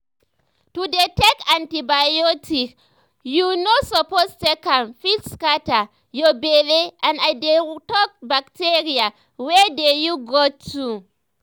to dey take antibiotics when you no suppose take am fit scatter your belle and i dey talk bacteria wey dey you gut too